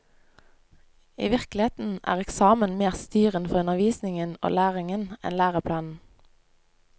I virkeligheten er eksamen mer styrende for undervisningen og læringen enn læreplanen.